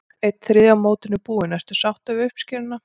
Einn þriðji af mótinu búinn, ertu sáttur við uppskeruna?